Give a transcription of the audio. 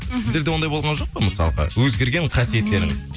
мхм сіздерде ондай болған жоқ па мысалға өзгерген қасиеттеріңіз